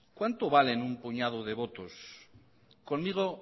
cuánto valen un puñado de votos conmigo